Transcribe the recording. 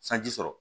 Sanji sɔrɔ